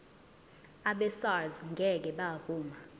abesars ngeke bavuma